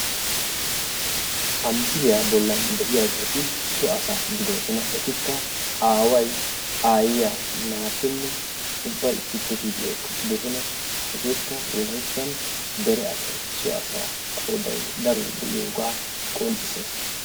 ha misiliyani beetiyagetti so assatta hegettikka aaway, aayiya naati issippe shiiqidi eqidagetta bessessi hagekka wolayttani so assa qooday cora gidiyogaa bessessi.